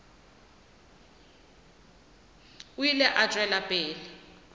o ile a tšwela pele